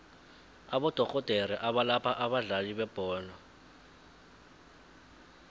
abodorhodere abalapha abadlali bebholo